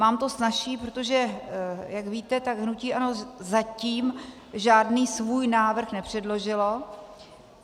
Mám to snazší, protože jak víte, tak hnutí ANO zatím žádný svůj návrh nepředložilo.